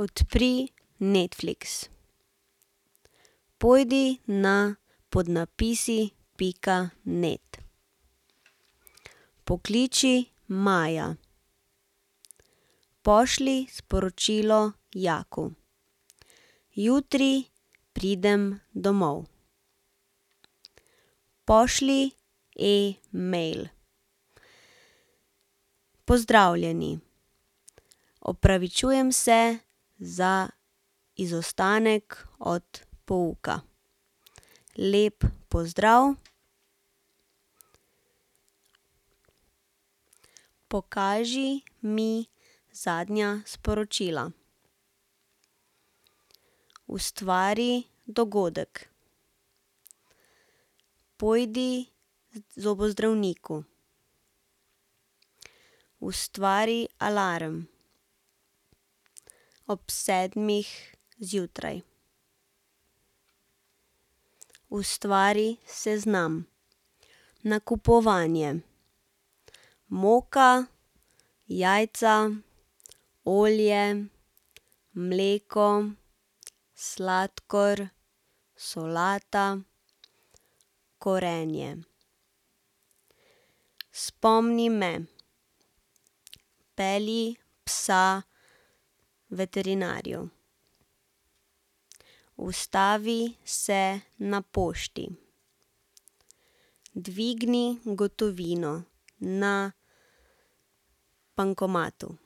Odpri Netflix. Pojdi na podnapisi pika net. Pokliči Maja. Pošlji sporočilo Jaku: Jutri pridem domov. Pošlji e-mail: Pozdravljeni, opravičujem se za izostanek od pouka. Lep pozdrav. Pokaži mi zadnja sporočila. Ustvari dogodek. Pojdi k zobozdravniku. Ustvari alarm ob sedmih zjutraj. Ustvari seznam. Nakupovanje: moka, jajca, olje, mleko, sladkor, solata, korenje. Spomni me: pelji psa veterinarju. Ustavi se na pošti. Dvigni gotovino na bankomatu.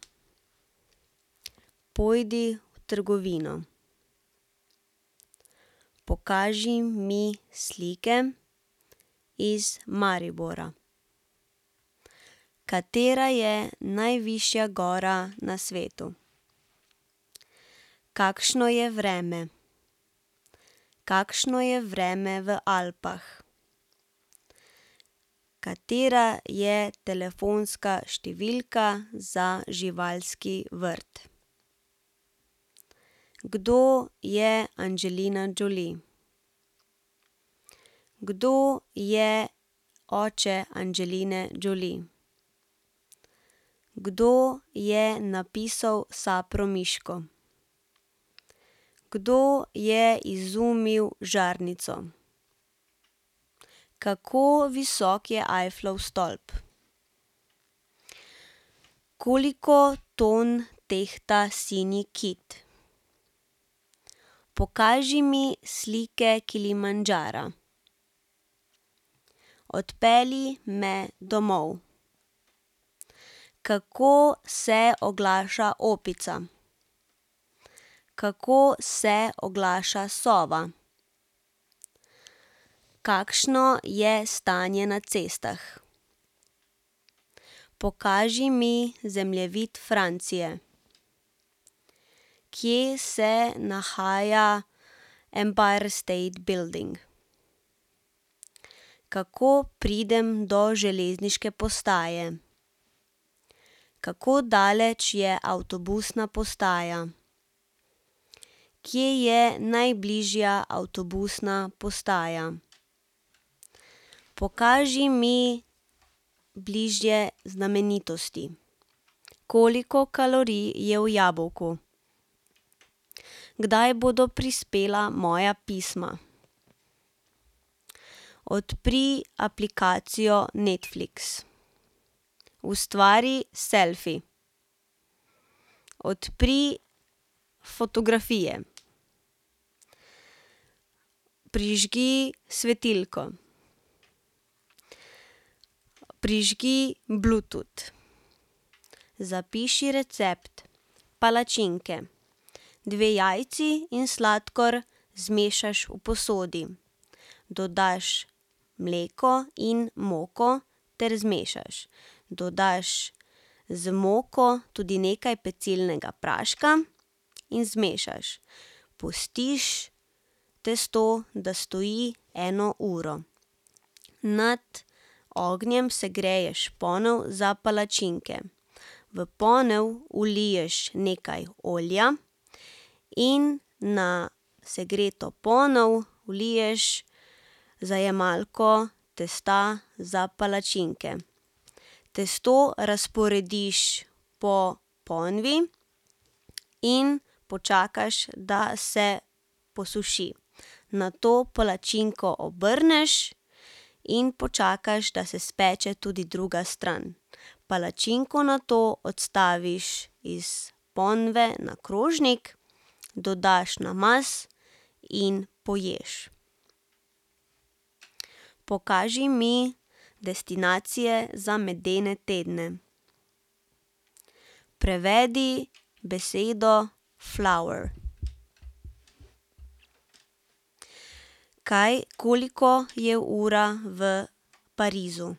Pojdi v trgovino. Pokaži mi slike iz Maribora. Katera je najvišja gora na svetu? Kakšno je vreme? Kakšno je vreme v Alpah? Katera je telefonska številka za živalski vrt? Kdo je Angelina Jolie? Kdo je oče Angeline Jolie? Kdo je napisal Sapramiško? Kdo je izumil žarnico? Kako visok je Eifflov stolp? Koliko tam tehta sinji kit? Pokaži mi slike Kilimandžara. Odpelji me domov. Kako se oglaša opica? Kako se oglaša sova? Kakšno je stanje na cestah? Pokaži mi zemljevid Francije. Kje se nahaja Empire State Building? Kako pridem do železniške postaje? Kako daleč je avtobusna postaja? Kje je najbližja avtobusna postaja? Pokaži mi bližje znamenitosti. Koliko kalorij je v jabolku? Kdaj bodo prispela moja pisma? Odpri aplikacijo Netflix. Ustvari selfi. Odpri fotografije. Prižgi svetilko. Prižgi Bluetooth. Zapiši recept: palačinke. Dve jajci in sladkor zmešaš v posodi. Dodaš mleko in moko ter zmešaš. Dodaš z moko tudi nekaj pecilnega praška in zmešaš. Pustiš testo, da stoji eno uro. Nad ognjem segreješ ponev za palačinke. V ponev vliješ nekaj olja in na segreto ponev vliješ zajemalko testa za palačinke. Testo razporediš po ponvi in počakaš, da se posuši. Nato palačinko obrneš in počakaš, da se speče tudi druga stran. Palačinko nato odstaviš iz ponve na krožnik, dodaš namaz in poješ. Pokaži mi destinacije za medene tedne. Prevedi besedo flower. Kaj, koliko je ura v Parizu?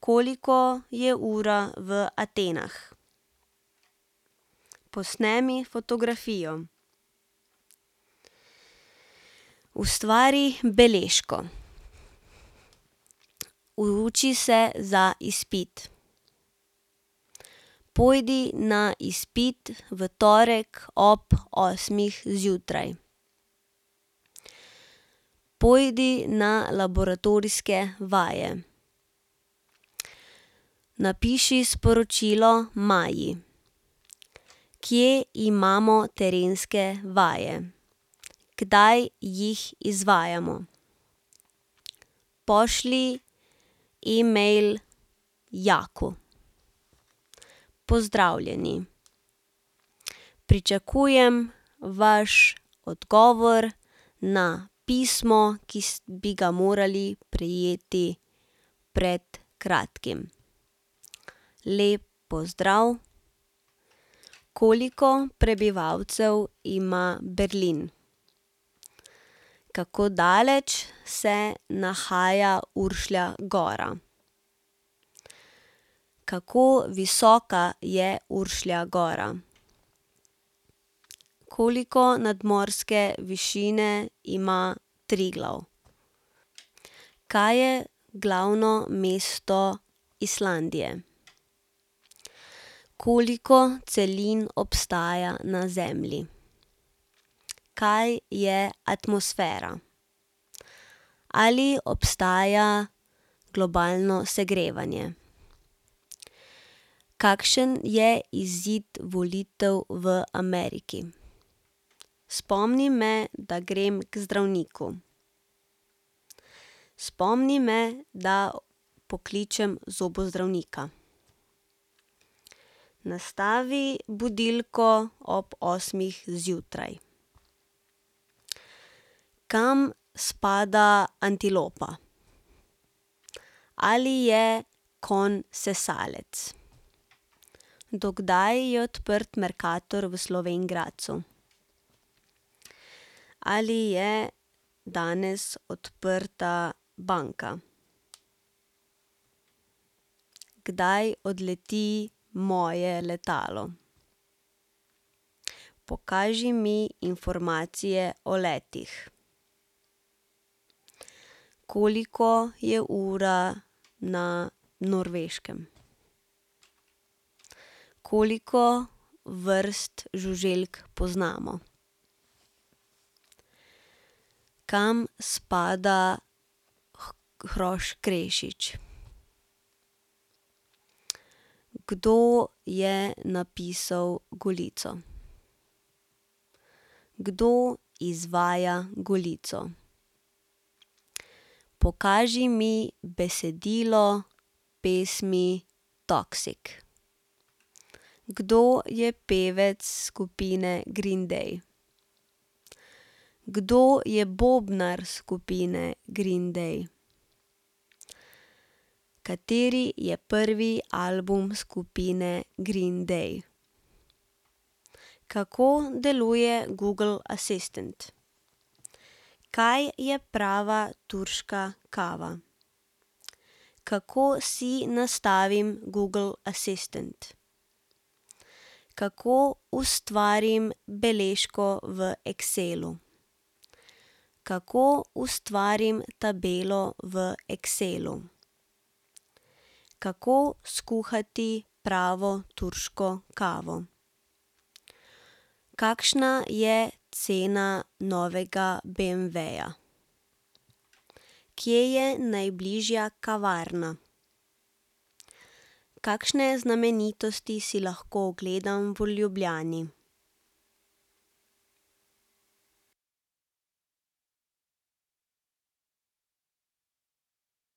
Koliko je ura v Atenah? Posnemi fotografijo. Ustvari beležko. Uči se za izpit. Pojdi na izpit v torek ob osmih zjutraj. Pojdi na laboratorijske vaje. Napiši sporočilo Maji: Kje imamo terenske vaje? Kdaj jih izvajamo? Pošlji e-mail Jaku: Pozdravljeni, pričakujem vaš odgovor na pismo, ki bi ga morali prejeti pred kratkim. Lep pozdrav. Koliko prebivalcev ima Berlin? Kako daleč se nahaja Uršlja gora? Kako visoka je Uršlja gora? Koliko nadmorske višine ima Triglav? Kaj je glavno mesto Islandije? Koliko celin obstaja na Zemlji? Kaj je atmosfera? Ali obstaja globalno segrevanje? Kakšen je izid volitev v Ameriki? Spomni me, da grem k zdravniku. Spomni me, da pokličem zobozdravnika. Nastavi budilko ob osmih zjutraj. Kam spada antilopa? Ali je konj sesalec? Do kdaj je odprt Mercator v Slovenj Gradcu? Ali je danes odprta banka? Kdaj odleti moje letalo? Pokaži mi informacije o letih. Koliko je ura na Norveškem? Koliko vrst žuželk poznamo? Kam spada hrošč krešič? Kdo je napisal Golico? Kdo izvaja Golico? Pokaži mi besedilo pesmi Toxic. Kdo je pevec skupine Green Day? Kdo je bobnar skupine Green Day? Kateri je prvi album skupine Green Day? Kako deluje Google Assistant? Kaj je prava turška kava? Kako si nastavim Google Assistant? Kako ustvarim beležko v Excelu? Kako ustvarim tabelo v Excelu? Kako skuhati pravo turško kavo? Kakšna je cena novega beemveja? Kje je najbližja kavarna? Kakšne znamenitosti si lahko ogledam v Ljubljani?